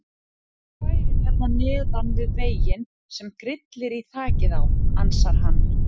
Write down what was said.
Jaðar er bærinn hérna neðan við veginn sem grillir í þakið á, ansar hann.